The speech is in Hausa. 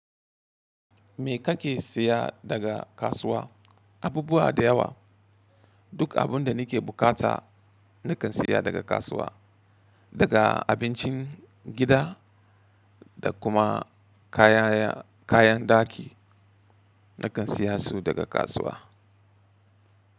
Me kake siya daga kasuwa? Abubuwa da yawa. Duk abun da ni ke bukata ni kan siya daga kasuwa. Daga abincin gida da kuma kaya-kayan ɗaki na kan siya su daga kasuwa.